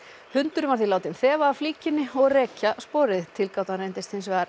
hundurinn var því látinn þefa af flíkinni og rekja sporið tilgátan reyndist hins vegar